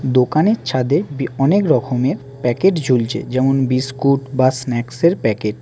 দোকানের ছাদে বি অনেক রকমের প্যাকেট ঝুলছে যেমন- বিস্কুট বা স্ন্যাক্সের প্যাকেট ।